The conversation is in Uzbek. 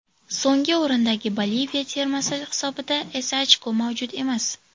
So‘nggi o‘rindagi Boliviya termasi hisobida esa ochko mavjud emas.